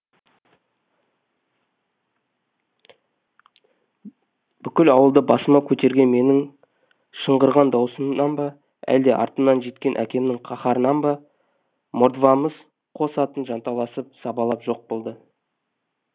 бүкіл ауылды басыма көтерген менің шыңғырған дауысымнан ба әлде артымнан жеткен әкемнің қаһарынан ба мордвамыз қос атын жанталасып сабалап жоқ болды